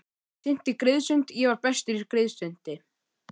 Synti skriðsund ég var bestur í skriðsundi.